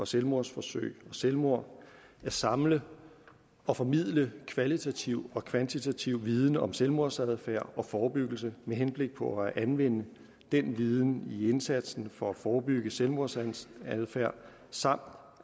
selvmordsforsøg og selvmord at samle og formidle kvalitativ og kvantitativ viden om selvmordsadfærd og forebyggelse med henblik på at anvende den viden i indsatsen for at forebygge selvmordsadfærd samt